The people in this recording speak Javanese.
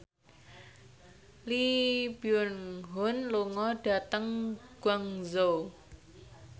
Lee Byung Hun lunga dhateng Guangzhou